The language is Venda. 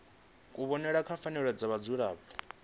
kuvhonele kwa pfanelo dza vhadzulapo